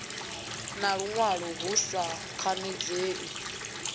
na luṅwalo hu sa khanadzei